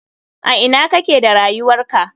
A ina kake da rayuwarka?